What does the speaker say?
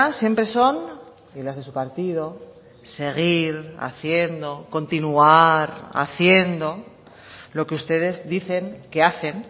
siempre son y las de su partido seguir haciendo continuar haciendo lo que ustedes dicen que hacen